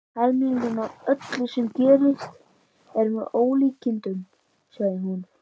Helmingurinn af öllu sem gerist er með ólíkindum, sagði hún.